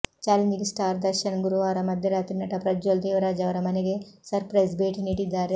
challenging star Darshan ಗುರುವಾರ ಮಧ್ಯರಾತ್ರಿ ನಟ ಪ್ರಜ್ವಲ್ ದೇವರಾಜ್ ಅವರ ಮನೆಗೆ ಸರ್ಪ್ರೈಸ್ ಭೇಟಿ ನೀಡಿದ್ದಾರೆ